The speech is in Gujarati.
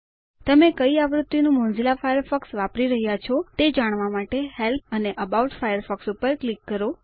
તમે કઈ આવૃત્તિનું મોઝીલા ફાયરફોક્સ વાપરી રહ્યા છો તે જાણવા માટે હેલ્પ અને એબાઉટ ફાયરફોક્સ ઉપર ક્લિક કરો